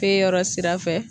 Te yɔrɔ sira fɛ